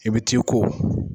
I bi t'i ko.